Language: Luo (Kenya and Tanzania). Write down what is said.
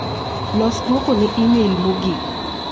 Los duoko ne imel mogik.